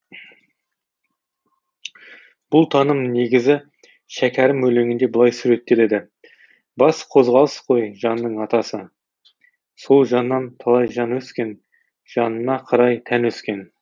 бұл таным негізі шәкәрім өлеңінде былай суреттеледі бас қозғалыс қой жанның атасы сол жаннан талай жан өскен жанына қарай тән өскен